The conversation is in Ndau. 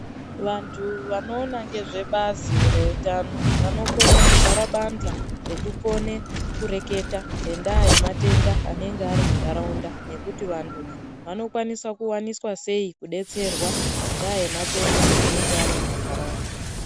Vantu vanoona ngezvebazi reutano, vanokone kugara bandhla, rekukone kureketa ngendaa yematenda anenga ari muntaraunda, nekuti vantu vanokona kuwaniswa sei kudetserwa ngendaa yematenda anenge ari mumantaraunda.